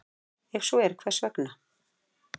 Ef svo er, hvers vegna?